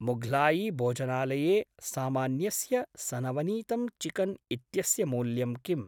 मुघ्लायी भोजनालये सामान्यस्य सनवनीतं चिकन् इत्यस्य मूल्यं किम्?